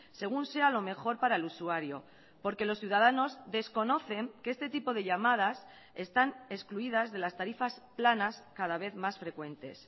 según sea lo mejor para el usuario porque los ciudadanos desconocen que este tipo de llamadas están excluidas de las tarifas planas cada vez más frecuentes